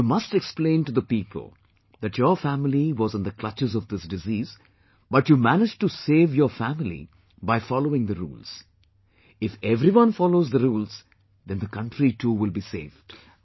You must explain to the people that your family was in the clutches of this disease, but you managed to save your family by following the rules, if everyone follows the rules then the country too will be saved